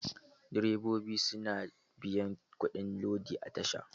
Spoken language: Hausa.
Direbobi su na biyan kuɗin lodi a tasha.